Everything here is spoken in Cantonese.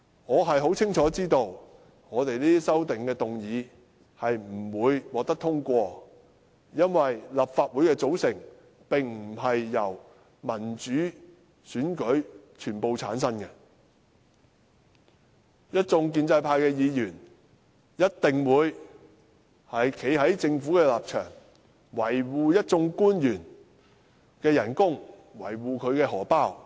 我亦清楚知道，我們這些修正案不會獲得通過，因為立法會的組成並非全由民主選舉產生，一眾建制派議員一定會站在政府的一方，維護一眾官員的薪酬，維護他們的錢包。